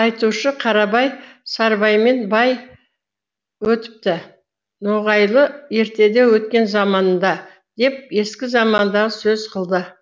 айтушы қарабай сарыбаймен бай өтіпті ноғайлы ертеде өткен заманында деп ескі заманды сөз қылды